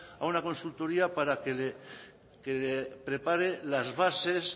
a una consultoría para que le prepare las bases